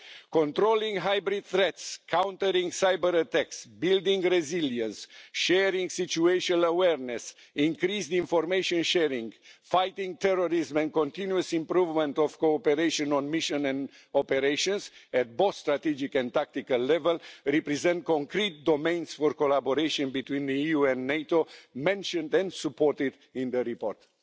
Controlling hybrid threats, countering cyberattacks, building resilience, sharing situational awareness, increased information sharing, fighting terrorism and continuous improvement of cooperation on mission and operations at both strategic and tactical level, represent concrete domains for collaboration between the EU and NATO that were mentioned and supported in the report.